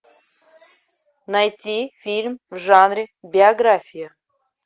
найти фильм в жанре биография